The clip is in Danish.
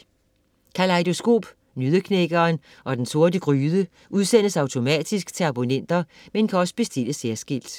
Kalejdoskop, Nøddeknækkeren og Den Sorte Gryde udsendes automatisk til abonnenter, men kan også bestilles særskilt.